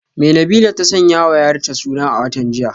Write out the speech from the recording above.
Me Nabilah ta sanyawa yarta suna a watan jiya?